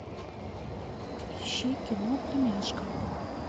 ищи кино племяшка